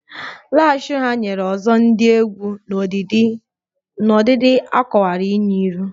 Lash ugha nyere ọzọ dị egwu n'ọdịdị a kowara nye iru